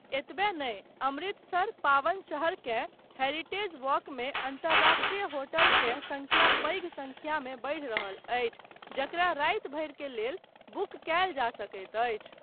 एतबे नहि, अमृतसर, पावन शहरकेँ हेरिटेज वॉकमे अन्तरराष्ट्रीय होटलकेँ संख्या पैघ संख्यामे बढि रहल अछि जकरा राति भरि के लेल बुक कयल जा सकैत अछि।